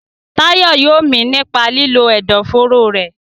Tayo yóò mí nípa lílo ẹ̀dọ̀fóró rẹ̀.